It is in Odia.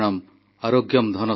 ମୋର ପ୍ରିୟ ଦେଶବାସୀଗଣ ନମସ୍କାର